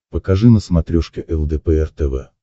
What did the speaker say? покажи на смотрешке лдпр тв